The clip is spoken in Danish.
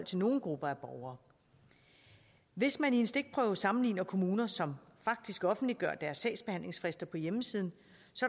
til nogle grupper af borgere hvis man i en stikprøve sammenligner kommuner som faktisk offentliggør deres sagsbehandlingsfrister på hjemmesiden